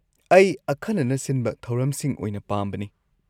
ꯑꯩ ꯑꯈꯟꯅꯅ ꯁꯤꯟꯕ ꯊꯧꯔꯝꯁꯤꯡ ꯑꯣꯏꯅ ꯄꯥꯝꯕꯅꯤ꯫